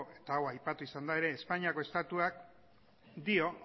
eta hau aipatu izan da ere espainiako estatuak dio